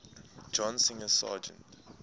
john singer sargent